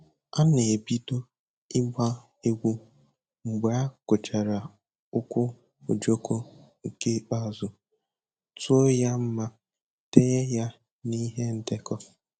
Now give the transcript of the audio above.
A na-ebido ịgba egwu mgbe a gụchara ukwu ojoko nke ikpeazụ, tụọ ya ma denye ya n'ihe ndekọ